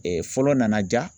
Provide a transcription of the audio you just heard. fɔlɔ nana ja.